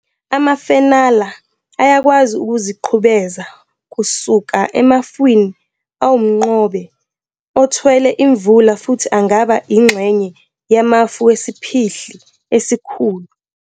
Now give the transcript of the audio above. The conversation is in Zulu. Amafenala ayakwazi ukuziqhubeza kusuka emafwini awumnqobe othwele imvula futhi angaba ingxenye yamafu wesiphihli esikhulu.